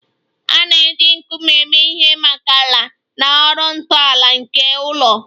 A na-eji nkume eme ihe maka ala na ọrụ ntọala nke ụlọ